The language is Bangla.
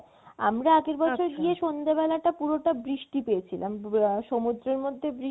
আমরা আগের বছর গিয়ে সন্ধ্যাবেলাটা পুরোটা বৃষ্টি পেয়েছিলাম যদি সমুদ্রের মধ্যে